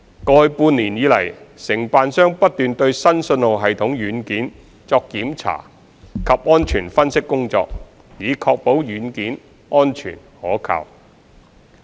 過去半年以來，承辦商不斷對新信號系統軟件作檢查及安全分析工作，以確保軟件安全可靠。